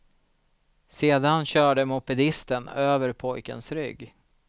Sedan körde mopedisten över pojkens rygg.